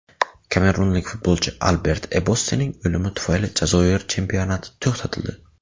Kamerunlik futbolchi Albert Ebossening o‘limi tufayli Jazoir chempionati to‘xtatildi.